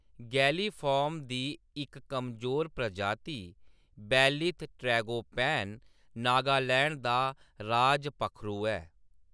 गैलीफार्म दी इक कमजोर प्रजाति बेलीथ ट्रैगोपैन नागालैंड दा राज पक्खरू ऐ।